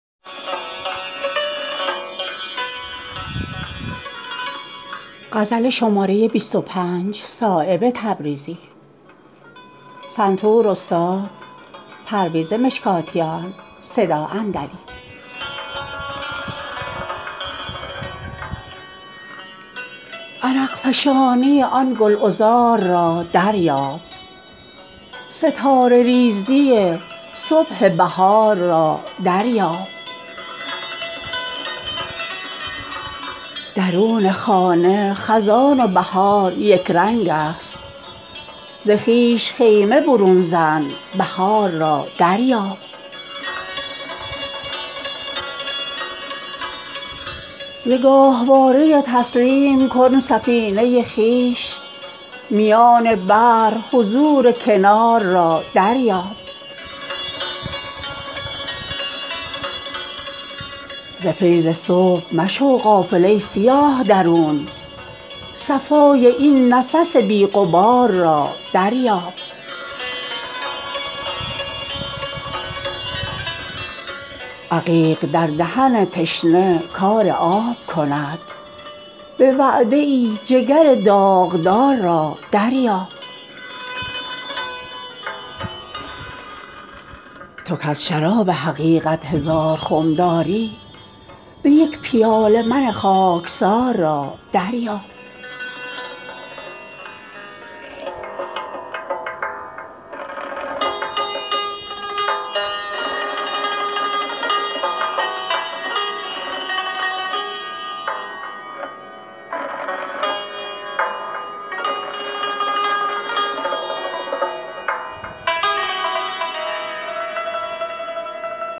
عرق فشانی آن گلعذار را دریاب ستاره ریزی صبح بهار را دریاب غبار خط به زبان شکسته می گوید که فیض صبح بناگوش یار را دریاب عقیق در دهن تشنه کار آب کند به وعده ای جگر داغدار را دریاب سواد جوهر تیغ قضا به دست آور دگر اشاره ابروی یار را دریاب درون خانه خزان و بهار یکرنگ است ز خویش خیمه برون زن بهار را دریاب ز نقطه حرف شناسان کتاب دان شده اند ز خط بپوش نظر خال یار را دریاب شرارهاست ازان روی آتشین انجم اگر ز سوختگانی شرار را دریاب تو کز شراب حقیقت هزار خم داری به یک پیاله من خاکسار را دریاب همیشه دور به کام کسی نمی گردد به یک دو جرعه من بی قرار را دریاب ز فیض صبح مشو غافل ای سیاه درون صفای این نفس بی غبار را دریاب ز گاهواره تسلیم کن سفینه خویش میان بحر حضور کنار را دریاب همیشه روی به دیوار جسم نتوان داشت صفای طلعت جان فگار را دریاب غبار قافله عمر چون نمایان نیست دو اسبه رفتن لیل و نهار را دریاب به خون ز نعمت الوان چو نافه قانع شو تراوش نفس مشکبار را دریاب مشو به برگ تسلی ز نخل هستی خویش بکوش میوه این شاخسار را دریاب درین ریاض چو صایب ز غنچه خسبان شو گره گشایی باد بهار را دریاب